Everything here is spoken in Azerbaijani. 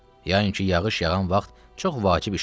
Yəqin ki, yağış yağan vaxt çox vacib işin olur.